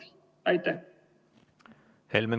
Helmen Kütt, palun!